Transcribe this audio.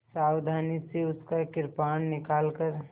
सावधानी से उसका कृपाण निकालकर